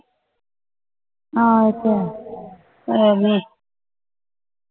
ਹਾਂ ਉਹ ਤਾ ਹੈ